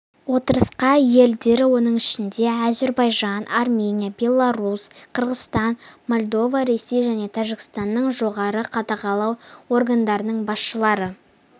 отырысқа елдері оның ішінде әзербайжан армения беларусь қырғызстан молдова ресей және тәжікстанның жоғары қадағалау органдарының басшылары